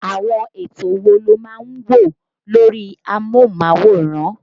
Àwọn ètò wo lo máa ń ń wò lórí amóhùnmáwòrán